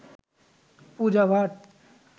Puja Bhatt